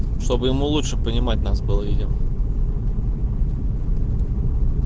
чтобы ему лучше понимать нас было видимо